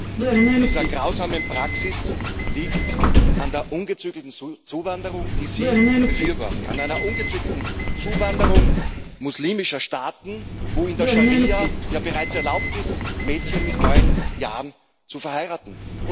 Die Wurzel dieser grausamen Praxis liegt bei der ungezügelten Zuwanderung, die Sie befürworten, bei einer ungezügelten Zuwanderung aus muslimischen Staaten, wo in der Scharia ja erlaubt ist, Mädchen bereits mit neun Jahren zu verheiraten.